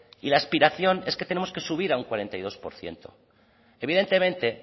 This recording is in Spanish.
y la aspiración es que tenemos que subir a un cuarenta y dos por ciento evidentemente